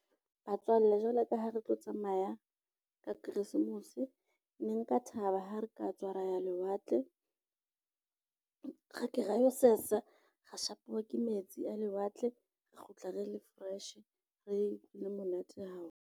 Batswalle jwalo ka ha re tlo tsamaya ka Christmas ne nka thaba ha re ka tswa ra ya lewatle, ra ka ra lo sesa, ra shapuwa ke metsi a lewatle, ra kgutla re le fresh, re le monate haholo.